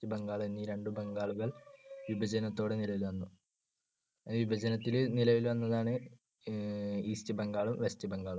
ബംഗാൾ ഈ രണ്ട് ബംഗാളുകൾ വിഭജനത്തോടെ നിലവിൽ വന്നു. വിഭജനത്തിൽ നിലവിൽ വന്നതാണ് അഹ് ഈസ്റ്റ് ബംഗാളും വെസ്റ്റ് ബംഗാളും.